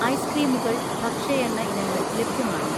ഐസ്ക്രീമുകൾ, ഭക്ഷ്യ എണ്ണ ഇനങ്ങൾ ലഭ്യമാണോ?